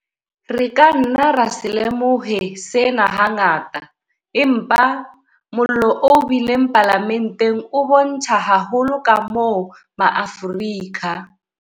Re ka nna ra se lemohe sena hangata, empa mollo o bileng Palamenteng o bontsha haholo kamoo ma Afrika.